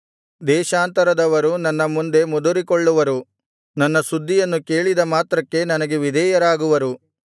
ದೇಶಾಂತರದವರು ನನ್ನ ಮುಂದೆ ಮುದುರಿಕೊಳ್ಳುವರು ನನ್ನ ಸುದ್ದಿಯನ್ನು ಕೇಳಿದ ಮಾತ್ರಕ್ಕೆ ನನಗೆ ವಿಧೇಯರಾಗುವರು